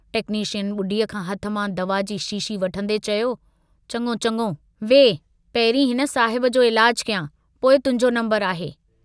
Technician बुढीअ खां हथ मां दवा जी शीशी वठंदें चयो, चङो, चङो वेहु पहिंरी हिन साहिब जो इलाजु कयां, पोइ तुहिंजो नम्बरु आहे।